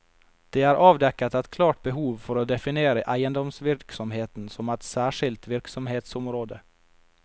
Det er avdekket et klart behov for å definere eiendomsvirksomheten som et særskilt virksomhetsområde.